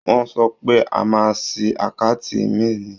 Wọ́n sọ pé a máa ṣí àkáǹtì ìmíì ni.